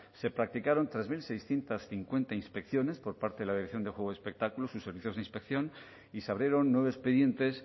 se practicaron tres mil seiscientos cincuenta inspecciones por parte de la dirección de juego y espectáculos y servicios de inspección y se abrieron nueve expedientes